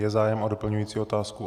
Je zájem o doplňující otázku?